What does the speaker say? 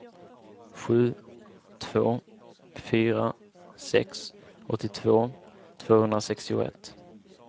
sju två fyra sex åttiotvå tvåhundrasextioett